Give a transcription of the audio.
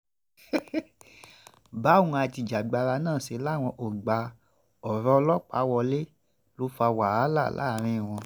báwọn ajìjàgbara náà ṣe láwọn kò gba ọ̀rọ̀ ọlọ́pàá wọlé ló fa wàhálà láàrin wọn